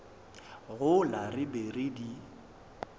gola re be re di